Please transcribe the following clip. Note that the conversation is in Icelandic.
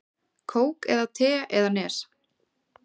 Kók eða te eða Nes?